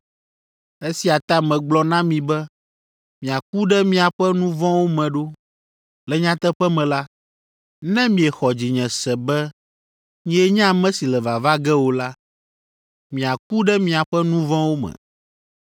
Esia ta megblɔ na mi be miaku ɖe miaƒe nu vɔ̃wo me ɖo. Le nyateƒe me la, ne miexɔ dzinye se be nyee nye ame si le vava ge o la, miaku ɖe miaƒe nu vɔ̃wo me.”